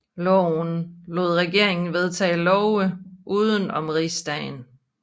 Loven lod regeringen vedtage love uden om rigsdagen